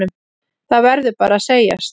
Það verður bara að segjast.